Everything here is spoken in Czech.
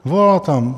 Volala tam.